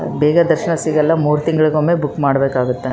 ಬೇಗ ದರ್ಶನ ಸಿಗಲ್ಲ ಮೂರೂ ತಿಂಗಳಿಗೊಮ್ಮೆ ಬುಕ್ ಮಾಡ್ಬೇಕಾಗುತ್ತೆ .